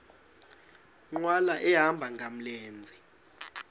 nkqwala ehamba ngamlenze